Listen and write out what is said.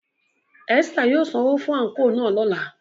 Esther yóò sanwo fun anko náa lọla.